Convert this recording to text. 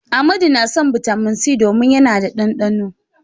Amadu na son Bitamin C domin yana da ɗanɗano.